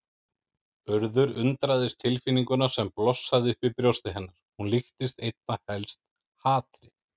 Urður undraðist tilfinninguna sem blossaði upp í brjósti hennar, hún líktist einna helst hatri.